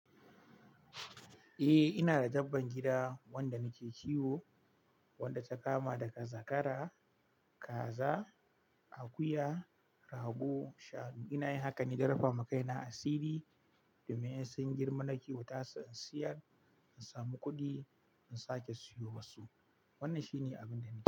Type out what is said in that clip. Eh ina da dabban gida, wanda nake kiwo, wanda ta kama daga zakara, kaza, akuya, rago shanu. Ina yin hakan ne don rufa ma kaina asiri, domin in sun girma na kiwata su in siyar, in samu kuɗi in sake siyo wasu. Wannan shi ne abin da nake yi.